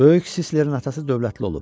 Böyük Sislərin atası dövlətli olub.